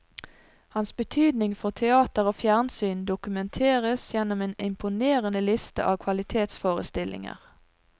Hans betydning for teater og fjernsyn dokumenteres gjennom en imponerende liste av kvalitetsforestillinger.